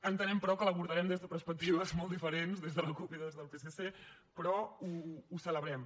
entenem però que l’abordarem des de perspectives molt diferents des de la cup i des del psc però ho celebrem